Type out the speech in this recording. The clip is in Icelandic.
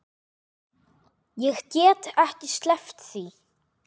Ég get ekki sleppt því.